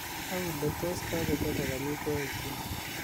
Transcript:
au le tos kogochobok omutwagikyuk